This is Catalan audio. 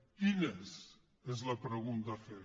quines és la pregunta a fer